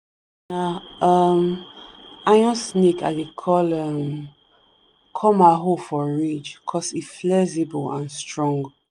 na um iron snake i dey um call ma hoe for ridge cos e flexible and strong